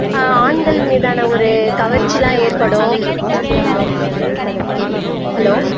ஆஹ் ஆண்கள் மீதான ஒரு கவர்ச்சி எல்லாம் ஏற்படும் ஹலோ